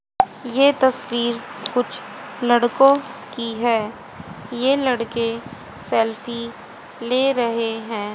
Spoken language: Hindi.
ये तस्वीर कुछ लड़कों की है ये लड़के सेल्फी ले रहे हैं।